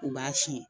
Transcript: U b'a si